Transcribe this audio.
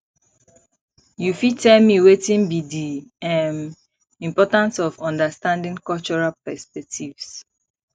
you fit tell me wetin be di um importance of understanding cultural perspectives